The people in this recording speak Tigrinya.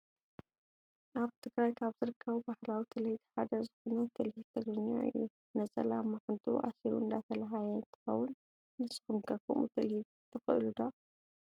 ኣብ ትግራይ ካብ ዝርከቡ ባህላዊ ትልሂት ሓደ ዝኮነ ትልሂት ትግርኛ እዩ። ነፀላ ኣብ ማዓንጡኡ ኣሲሩ እንዳተላሃየ እንትከውን፣ ንስኩም ከ ከምኡ ትልሂት ትክእሉ ዶ?